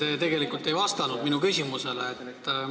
Te tegelikult ei vastanud minu küsimusele.